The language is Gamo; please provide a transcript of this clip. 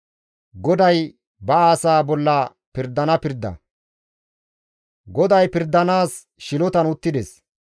GODAY pirdanaas shilotan uttides; deraa bolla pirdanaas dendides.